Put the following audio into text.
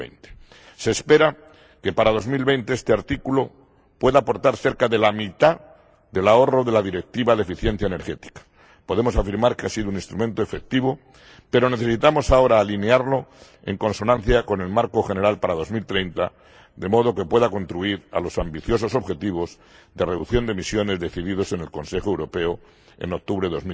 2020. Se espera que para 2020 este artículo pueda aportar cerca de la mitad del ahorro de la Directiva de eficiencia energética. Podemos afirmar que ha sido un instrumento efectivo, pero necesitamos ahora alinearlo en consonancia con el marco general para 2030, de modo que pueda contribuir a los ambiciosos objetivos de reducción de emisiones definidos en el Consejo Europeo en octubre de